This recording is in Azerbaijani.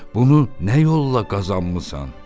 Bunu nə yolla qazanmısan?"